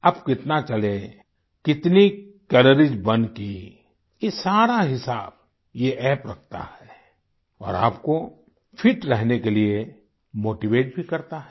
आप कितना चले कितनी कैलोरीज बर्न की ये सारा हिसाब ये अप्प रखता है और आपको फिट रहने के लिये मोटीवेट भी करता है